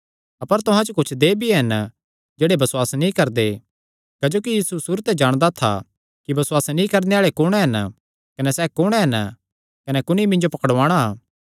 अपर तुहां च कुच्छ देहय् भी हन जेह्ड़े बसुआस नीं करदे क्जोकि यीशु सुरू ते जाणदा था कि बसुआस नीं करणे आल़े कुण हन कने सैह़ कुण ऐ कने कुणी मिन्जो पकड़ुआणा